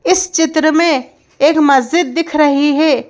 इस चित्र में एक मस्जिद दिख रही है।